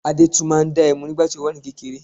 Adẹ́tù máa ń dá ẹmu nígbà tí ó wà ní kékeré